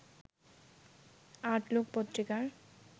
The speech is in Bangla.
আউটলুক পত্রিকার